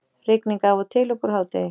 Rigning af og til uppúr hádegi